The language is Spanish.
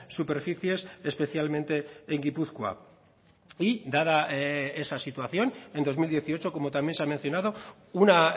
superficies especialmente en gipuzkoa y dada esa situación en dos mil dieciocho como también se ha mencionado una